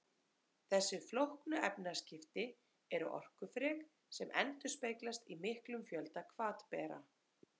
þessi flóknu efnaskipti eru orkufrek sem endurspeglast í miklum fjölda hvatbera